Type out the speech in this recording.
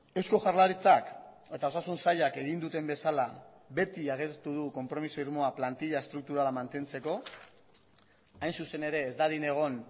eusko jaurlaritzak eta osasun sailak egin duten bezala beti agertu du konpromiso irmoa plantila estrukturala mantentzeko hain zuzen ere ez dadin egon